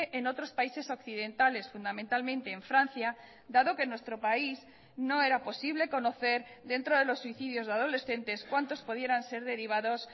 en otros países occidentales fundamentalmente en francia dado que nuestro país no era posible conocer dentro de los suicidios de adolescentes cuántos pudieran ser derivados